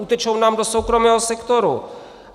Utečou nám do soukromého sektoru.